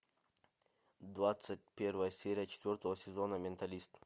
двадцать первая серия четвертого сезона менталист